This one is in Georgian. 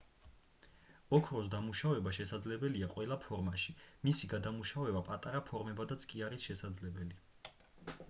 ოქროს დამუშავება შესაძლებელია ყველა ფორმაში მისი გადამუშავება პატარა ფორმებადაც კი არის შესაძლებელი